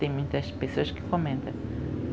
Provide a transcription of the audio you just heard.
Tem muitas pessoas que comenta.